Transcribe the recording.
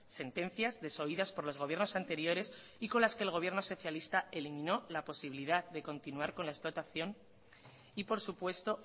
sentencias desoídas por los gobiernos anteriores y con las que el gobierno socialista eliminó la posibilidad de continuar con la explotación y por supuesto